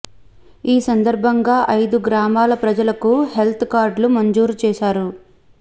ఈ సందర్భంగా ఐదు గ్రామాల ప్రజలకు హెల్త్ కార్డులు మంజూరు చేశారు